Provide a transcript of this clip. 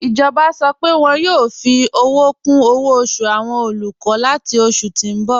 Ijọba sọ́ pé wọn yoo fi owo kun owo osu awọn olukọ lati oṣù ti n bọ̀.